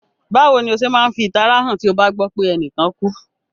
Bàwoni o se ma n fi ìtara han ti o ba gbọ pe enìkan kú?